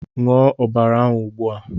Ṅụọ ọbara ahụ ugbua!